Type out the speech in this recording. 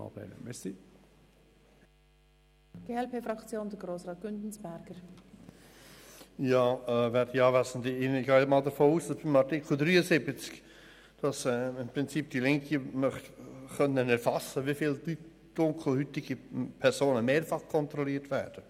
Ich gehe davon aus, dass bei Artikel 73 die Linke erfassen möchte, wie viele dunkelhäutige Personen mehrfach kontrolliert werden.